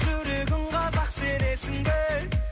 жүрегім қазақ сенесің бе